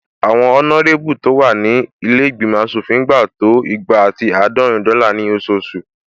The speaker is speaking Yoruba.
Àwọn ọnárébù tó wà ní ilé ìgbìmọ̀ aṣòfin ń gba to igba ati àádọ́rin dọ́là ní ososù